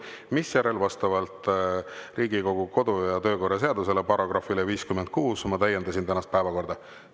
Misjärel vastavalt Riigikogu kodu- ja töökorra seaduse §-le 56 ma täiendasin tänast päevakorda.